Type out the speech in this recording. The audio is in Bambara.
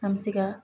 An bɛ se ka